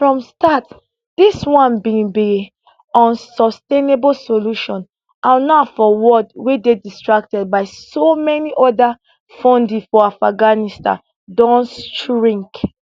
from start dis one bin be unsustainable solution and now for world wey dey distracted by so many oda funding for afghanistan don shrink